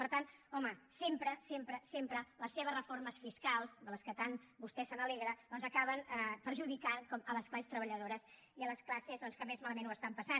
per tant home sempre sempre sempre les seves reformes fiscals de les quals tant vostè se n’alegra acaben perjudicant les classes treballadores i les classes que més malament ho estan passant